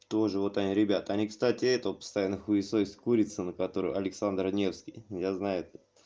тоже вот они ребята они кстати этого постоянно хуесосят курицына который александр невский я знаю это